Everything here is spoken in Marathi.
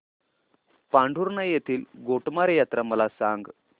पांढुर्णा येथील गोटमार यात्रा मला सांग